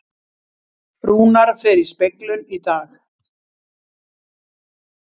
Rúnar fer í speglun í dag